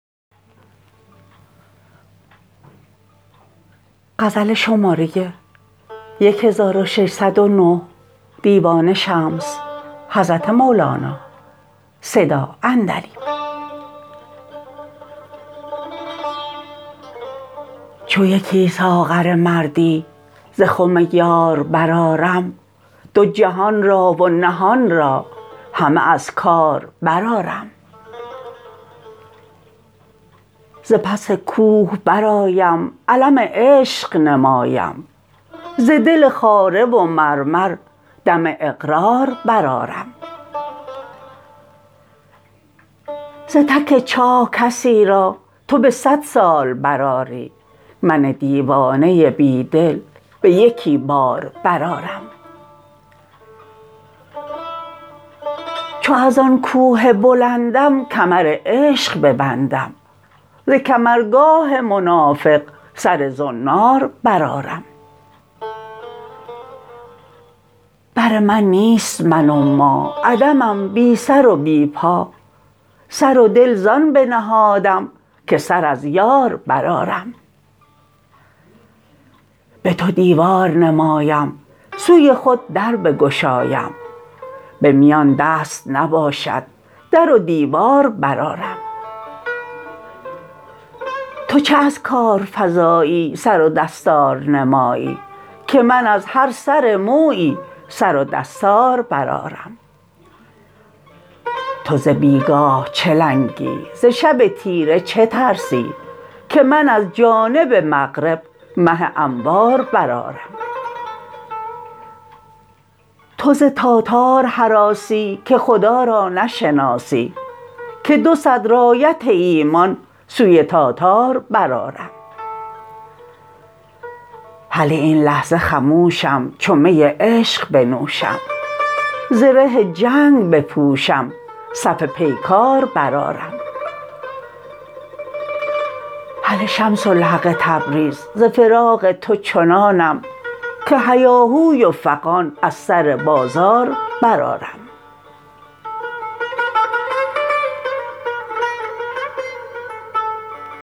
چو یکی ساغر مردی ز خم یار برآرم دو جهان را و نهان را همه از کار برآرم ز پس کوه برآیم علم عشق نمایم ز دل خاره و مرمر دم اقرار برآرم ز تک چاه کسی را تو به صد سال برآری من دیوانه بی دل به یکی بار برآرم چو از آن کوه بلندم کمر عشق ببندم ز کمرگاه منافق سر زنار برآرم بر من نیست من و ما عدمم بی سر و بی پا سر و دل زان بنهادم که سر از یار برآرم به تو دیوار نمایم سوی خود در بگشایم به میان دست نباشد در و دیوار برآرم تا چه از کار فزایی سر و دستار نمایی که من از هر سر مویی سر و دستار برآرم تو ز بی گاه چه لنگی ز شب تیره چه ترسی که من از جانب مغرب مه انوار برآرم تو ز تاتار هراسی که خدا را نشناسی که دو صد رایت ایمان سوی تاتار برآرم هله این لحظه خموشم چو می عشق بنوشم زره جنگ بپوشم صف پیکار برآرم هله شمس الحق تبریز ز فراق تو چنانم که هیاهوی و فغان از سر بازار برآرم